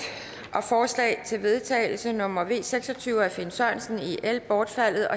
og forslag til vedtagelse nummer v seks og tyve af finn sørensen bortfaldet